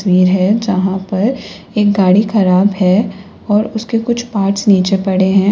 वीर है यहां पर एक गाड़ी खराब है और उसके कुछ पार्ट्स नीचे पड़े हैं।